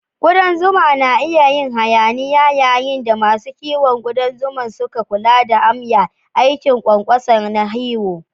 Ƙudan zuma na yin hayaniya yayin da masu kiwon kudan zuma sukan kula da amya, aikin ƙwanƙwasa na hiwo.